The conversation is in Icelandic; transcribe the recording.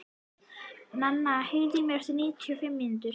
Nana, heyrðu í mér eftir níutíu og fimm mínútur.